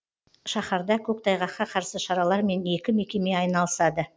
шаһарда көктайғаққа қарсы шаралармен екі мекеме айналысады